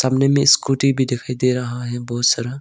कोने में स्कूटी भी दिखाई दे रहा है बहुत सारा।